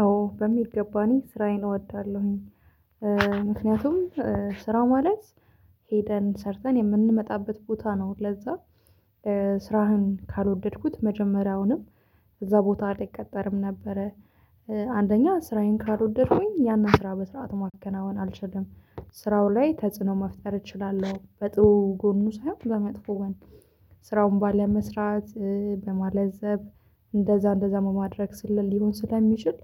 አዎ በሚገባ እኔ ስራዬን እወዳለሁኝ ምክንያቱም ስራው ማለት ሄደን ሰርተን የምንመጣበት ቦታ ነው። ለዛ ስራህን ካልወደድኩት መጀመሪያውንም እዛ ቦታ አልቀጠርም ነበረ። አንደኛ ስራዬን ካልወደድኩኝ ያንን ስራ በስርዓት ማከናወን አልችልም። ስራው ላይ ተጽዕኖ መፍጠር እችላለሁ በጥሩ ጎኑ ሳይሆን ለመጥፎ ስራውን ባለመስራት በማለዘብ እንደዛ እንደዛ መማድረግ ስልል ሊሆን ስለሚችል።